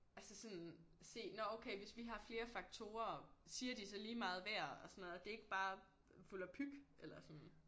Altså sådan se nåh okay hvis vi har flere faktorer siger de så lige meget hver og sådan at det ikke bare volapyk eller sådan